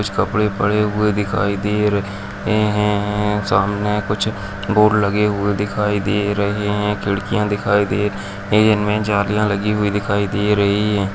कुछ कपड़े पड़े हुए दिखाई दे रहे हैं-हैं-हैं सामने कुछ बोर्ड लगे हुए दिखाई दे रहे हैं खिड़कियाँ दिखाई दे रही हैं इनमे जालियाँ लगी दिखाई दे रही है।